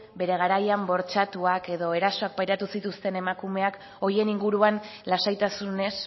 bere garaian bortxatuak edo erasoak pairatu zituzten emakumeak horien inguruan lasaitasunez